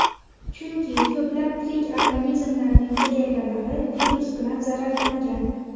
Chunki ko‘plab tirik organizmlarning hujayralari virus bilan zararlangan.